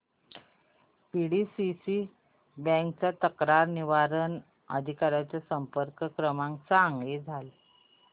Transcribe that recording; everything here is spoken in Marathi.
पीडीसीसी बँक च्या तक्रार निवारण अधिकारी चा संपर्क क्रमांक सांग